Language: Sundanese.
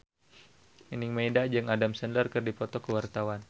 Nining Meida jeung Adam Sandler keur dipoto ku wartawan